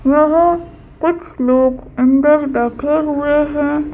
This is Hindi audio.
वहांकुछ लोग अंदर बैठे हुए हैं।